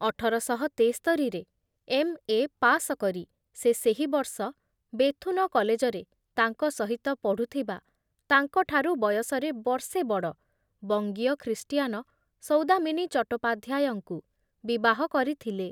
ଅଠର ଶହ ତେସ୍ତରିରେ ଏମ୍ ଏ ପାସ କରି ସେ ସେହି ବର୍ଷ ବେଥୁନ କଲେଜରେ ତାଙ୍କ ସହିତ ପଢୁଥିବା ତାଙ୍କଠାରୁ ବୟସରେ ବର୍ଷେ ବଡ଼ ବଙ୍ଗୀୟ ଖ୍ରୀଷ୍ଟିଆନ ସୌଦାମିନୀ ଚଟ୍ଟୋପାଧ୍ୟାୟଙ୍କୁ ବିବାହ କରିଥିଲେ ।